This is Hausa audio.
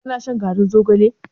Ka na shan garin zogalen?